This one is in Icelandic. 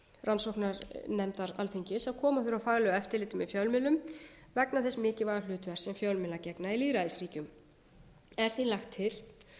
rannsóknarnefndar alþingis að koma á faglegu eftirliti með fjölmiðlum vegna þess mikilvæga hlutverks sem fjölmiðlar gegna í lýðræðisríkjum er því lagt til